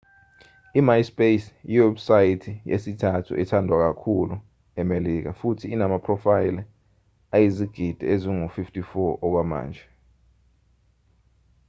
i-myspace yiwebusayithi yesithathu ethandwa kakhulu emelika futhi inamaphrofayela ayizigidi ezingu-54 okwamanje